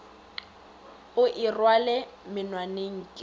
o e rwale monwaneng ke